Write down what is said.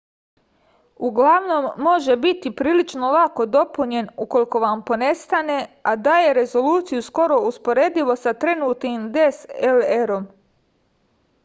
uglavnom može biti prilično lako dopunjen ukoliko vam ponestane a daje rezoluciju skoro uporedivu sa trenutnim dslr-om